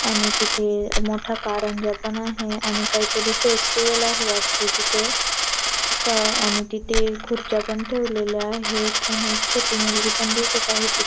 आणि तिथे अ मोठा कारंजा पण आहे आणि काहीतरी फेस्टिवल आहे वाटत तिथे का आणि तिथे खुर्च्या पण ठेवलेल्या आहेत आणि छोटी मुलगी पण दिसत आहे ति --